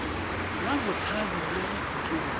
la botshabi le ya bokhutlong